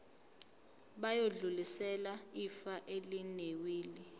bayodlulisela ifa elinewili